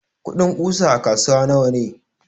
kudin ƙusa a kasuwa nawane?